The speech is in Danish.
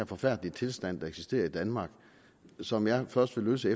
forfærdelige tilstand der eksisterer i danmark og som jeg først vil løse